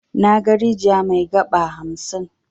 Naga rijiya mai 'gaba' hamsin.